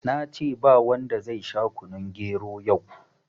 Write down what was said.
Nace babu wanda zai sha kunun gero yau